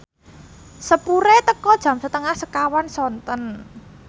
sepure teka jam setengah sekawan sonten